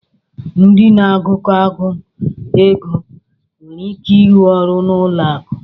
Ndị na-agụkọ akụ̀ (ego) nwere ike ịrụ ọrụ n'ụlọ akụ.